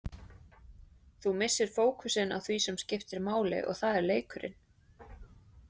Þú missir fókusinn á því sem skiptir máli og það er leikurinn.